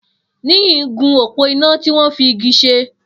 Niyi n gún ópó iná tiwọn fi igi ṣé